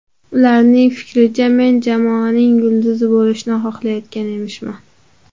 Ularning fikricha men jamoaning yulduzi bo‘lishni xohlayotgan emishman.